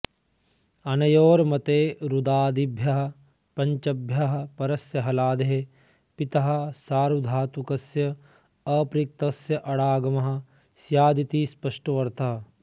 अनयोर्मते रुदादिभ्यः पञ्चभ्यः परस्य हलादेः पितः सार्वधातुकस्य अपृक्तस्य अडागमः स्यादिति स्पष्टोऽर्थः